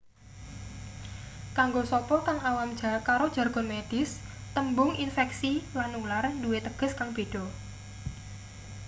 kanggo sapa kang awam karo jargon medis tembung infeksi lan nular duwe teges kang beda